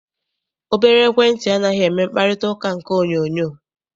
Obere ekwentị anaghị eme mkparịtaụka nke onyoonyoo